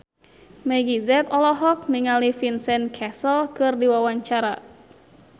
Meggie Z olohok ningali Vincent Cassel keur diwawancara